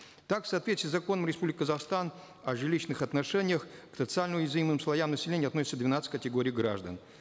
так в соответствии с законом республики казахстан о жилищных отношениях к социально уязвимым слоям населения относится двенадцать категорий граждан